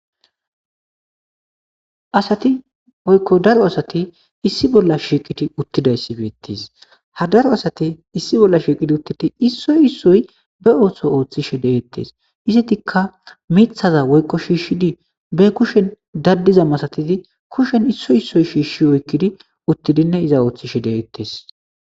Asati woyko daro asati issi bolla shiiqidi utidayasi beetesi, ha daro asati issi bolla shiiqidi utid issoy issoy ba ootho oothishe de'etes, izetika mithaza woyko shiishis ba kushen dadiza masatidi kusheni issoyi issoyi shiish oykidi utidinne iza oothishe de'etes.